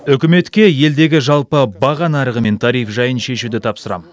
үкіметке елдегі жалпы баға нарығы мен тариф жайын шешуді тапсырамын